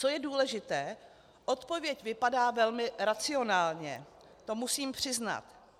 Co je důležité, odpověď vypadá velmi racionálně, to musím přiznat.